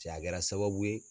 Cɛ a kɛra sababu ye